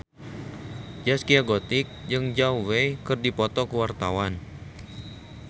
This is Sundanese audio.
Zaskia Gotik jeung Zhao Wei keur dipoto ku wartawan